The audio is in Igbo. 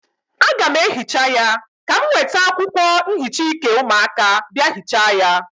Aga m ehicha ya, ka m weta akwụkwọ nhicha ike ụmụaka bịa hịcha ya.